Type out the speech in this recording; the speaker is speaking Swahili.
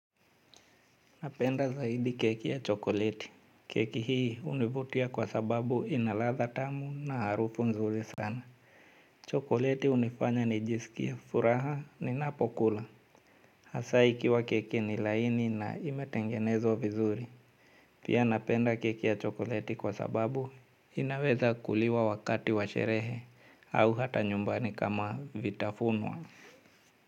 Napenda zaidi keki ya chokoleti. Keki hii hunivutia kwa sababu inaladha tamu na harufu nzuri sana. Chokoleti hunifanya nijisikie furaha ninapokula. Hasa ikiwa keki ni laini na imetengenezwa vizuri. Pia napenda keki ya chokoleti kwa sababu inaweza kuliwa wakati wa sherehe au hata nyumbani kama vitafuno.